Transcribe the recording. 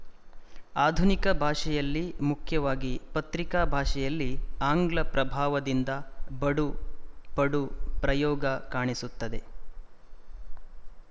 ಆಧುನಿಕ ಭಾಷೆಯಲ್ಲಿ ಮುಖ್ಯವಾಗಿ ಪತ್ರಿಕಾ ಭಾಷೆಯಲ್ಲಿ ಆಂಗ್ಲ ಪ್ರಭಾವದಿಂದ ಬಡು ಪಡು ಪ್ರಯೋಗ ಕಾಣಿಸುತ್ತದೆ